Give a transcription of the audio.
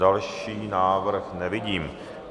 Další návrh nevidím.